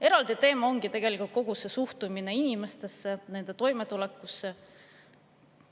Eraldi teema ongi tegelikult kogu see suhtumine inimestesse, nende toimetulekusse.